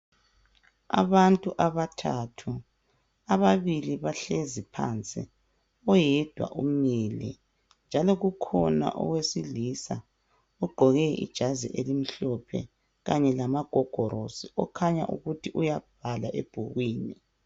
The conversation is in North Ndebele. Abantu abathathu ababili bahlezi phansi oyedwa umile njalo kukhona owesilisa ogqoke ijazi elimhlophe Kanye lamagogorosi kukhanya ukuthi uyabhala ebhukwini